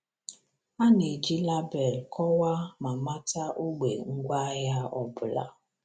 A na-eji label kọwaa ma mata ogbe ngwaahịa ọ bụla.